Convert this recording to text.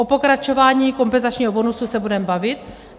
O pokračování kompenzačního bonusu se budeme bavit.